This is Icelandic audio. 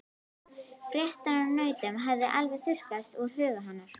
Fréttirnar af nautunum höfðu alveg þurrkast úr huga hennar.